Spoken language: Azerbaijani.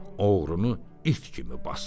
Oğrunu it kimi basdırım.